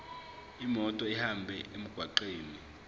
imoto ihambe emgwaqweni